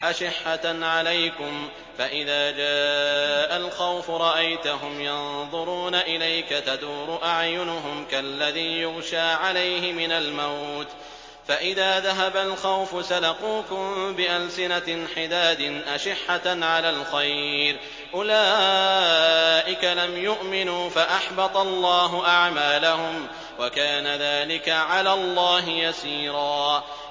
أَشِحَّةً عَلَيْكُمْ ۖ فَإِذَا جَاءَ الْخَوْفُ رَأَيْتَهُمْ يَنظُرُونَ إِلَيْكَ تَدُورُ أَعْيُنُهُمْ كَالَّذِي يُغْشَىٰ عَلَيْهِ مِنَ الْمَوْتِ ۖ فَإِذَا ذَهَبَ الْخَوْفُ سَلَقُوكُم بِأَلْسِنَةٍ حِدَادٍ أَشِحَّةً عَلَى الْخَيْرِ ۚ أُولَٰئِكَ لَمْ يُؤْمِنُوا فَأَحْبَطَ اللَّهُ أَعْمَالَهُمْ ۚ وَكَانَ ذَٰلِكَ عَلَى اللَّهِ يَسِيرًا